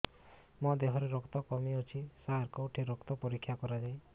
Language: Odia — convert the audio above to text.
ମୋ ଦିହରେ ରକ୍ତ କମି ଅଛି ସାର କେଉଁଠି ରକ୍ତ ପରୀକ୍ଷା କରାଯାଏ